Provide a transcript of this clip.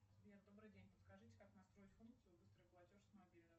сбер добрый день подскажите как настроить функцию быстрый платеж с мобильного